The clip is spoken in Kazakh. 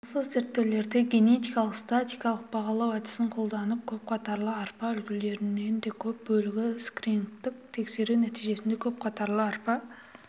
осы зерттеулерде генетика статистикалық бағалау әдісін қолданып көп қатарлы арпа үлгілерінің де көп бөлігін скринигтік тексеру нәтижесінде көпқатарлы арпа